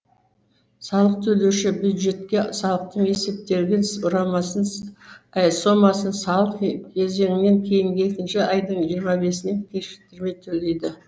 салық төлеуші бюджетке салықтың есептелген сомасын салық кезеңінен кейінгі екінші айдын жиырма бесінен кешіктірмей төлейді